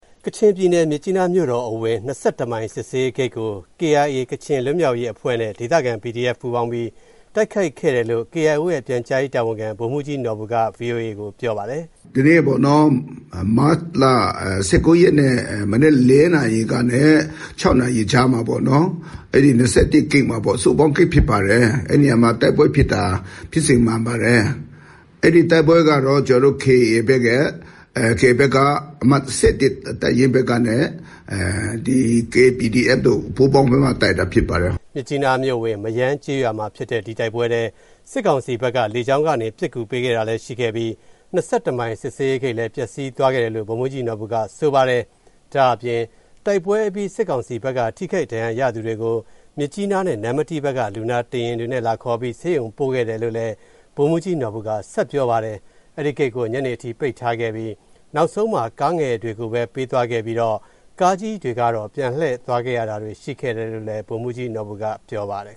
ကချင်ပြည်နယ်၊ မြစ်ကြီးနားမြို့တော်အဝင် ၂၁ မိုင် စစ်ဆေးရေးဂိတ်ကို KIA ကချင်လွတ်မြောက်ရေးအဖွဲ့နဲ့ ဒေသခံ PDF ပူးပေါင်းပြီး တိုက်ခိုက်ခဲ့တယ်လို့ KIO ရဲ့ ပြန်ကြားရေးတာဝန်ခံ ဗိုလ်မှူးကြီးနော်ဘူက ဗွီအိုအေကို ပြောပါတယ်။ “ဟုတ်ကဲ့ ဒီနေ့ မတ်လ ၁၉ ရက်နေ့ မနက် ၄ နာရီကနေ ၆ နာရီကြားမှာ အဲဒီ ၂၁ ဂိတ်မှာပေါ့၊ စုပေါင်းဂိတ်ဖြစ်ပါတယ်၊ အဲဒီနေရာမှာ တိုက်ပွဲဖြစ်တာ ဖြစ်စဉ်မှန်ပါတယ်။ အဲဒီတိုက်ပွဲကတော့ ကျနော်တို့ KIA ဘက်က အမှတ် ၁၁ တပ်ရင်းဘက်နဲ့ KPDF တို့ ပူးပေါင်းတိုက်တာ ဖြစ်ပါတယ်။” မြစ်ကြီးနားမြို့အဝင် မရမ်းကျေးရွာမှာဖြစ်တဲ့ ဒီတိုက်ပွဲထဲ စစ်ကောင်စီဘက်က လေကြောင်းကနေ ပစ်ကူပေးခဲ့တာလည်း ရှိခဲ့ပြီး ၂၁ မိုင် စစ်ဆေးရေးဂိတ်လည်း ပျက်စီးသွားခဲ့တယ်လို့ ဗိုလ်မှူးကြီးနော်ဘူက ဆိုပါတယ်။ ဒါ့အပြင် တိုက်ပွဲအပြီး စစ်ကောင်စီဘက်က ထိခိုက်ဒဏ်ရာရသူတွေကို မြစ်ကြီးနားနဲ့ နမ္မတီးဘက်က လူနာတင်ယဉ်တွေနဲ့ လာခေါ်ပြီး ဆေးရုံပို့ခဲ့တယ်လို့ ဗိုလ်မှူးကြီး နော်ဘူက ဆက်ပြောပါတယ်။ အဲဒီဂိတ်ကို ညနေအထိ ပိတ်ထားခဲ့ပြီး နောက်ဆုံးမှာ ကားငယ်တွေကိုပဲ ပေးသွားခဲ့ပြီးတော့ ကားကြီးတွေကတော့ ပြန်လှည့်သွားရတာတွေ ရှိခဲ့တယ်လို့လည်း ဗိုလ်မှူးကြီးနော်ဘူက ပြောပါတယ်